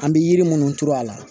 An bɛ yiri minnu turu a la